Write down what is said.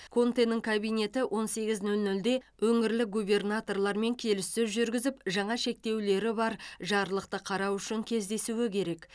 контенің кабинеті он сегіз нөл нөлде өңірлік губернаторлармен келіссөз жүргізіп жаңа шектеулері бар жарлықты қарау үшін кездесуі керек